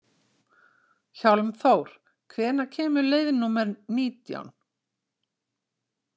Hjálmþór, hvenær kemur leið númer nítján?